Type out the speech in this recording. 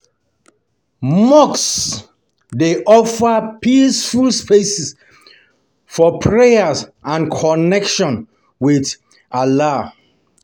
Mosques dey offer peaceful spaces for prayer and connection with Allah.